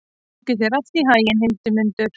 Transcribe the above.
Gangi þér allt í haginn, Hildimundur.